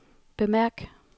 bemærk